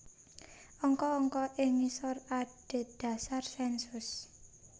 Angka angka ing ngisor adhedhasar sènsus